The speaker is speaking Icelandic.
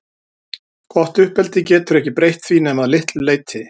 Gott uppeldi getur ekki breytt því nema að litlu leyti.